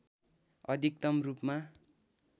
अधिकतम रूपमा